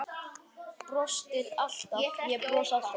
Brostir alltaf.